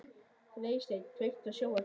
Freysteinn, kveiktu á sjónvarpinu.